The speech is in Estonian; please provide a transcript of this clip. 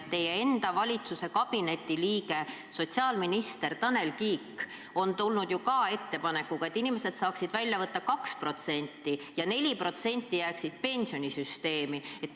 Teie enda valitsuskabineti liige sotsiaalminister Tanel Kiik on tulnud ju ka ettepanekuga, et inimesed saaksid välja võtta 2% ja 4% jääks pensionisüsteemi.